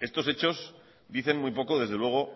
estos hechos dicen muy poco desde luego